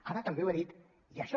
ara també ho he dit i això